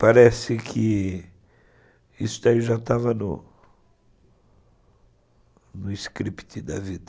Parece que isso já estava no script da vida.